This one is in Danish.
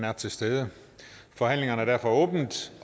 er til stede og forhandlingen er derfor åbnet